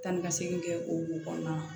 Tan ni ka segin kɛ o kɔnɔna na